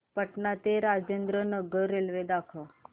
पटणा ते राजेंद्र नगर रेल्वे दाखवा